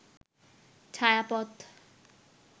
ছায়াপথ